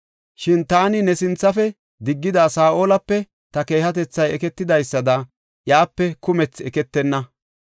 Shin taani ne sinthafe diggida Saa7olape ta keehatethay eketidaysada iyape kumthi eketenna.